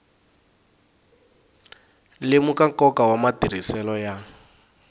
lemuka nkoka wa matirhiselo ya